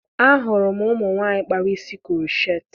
Ahụrụ m umụ nwaanyị kpara isi krocheetị